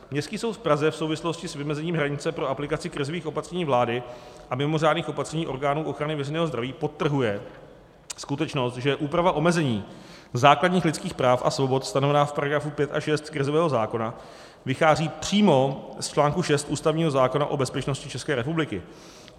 Městský soud v Praze v souvislosti s vymezení hranice pro aplikaci krizových opatření vlády a mimořádných opatření orgánů ochrany veřejného zdraví podtrhuje skutečnost, že úprava omezení základních lidských práv a svobod stanovená v § 5 a 6 krizového zákona vychází přímo z článku 6 ústavního zákona o bezpečnosti České republiky.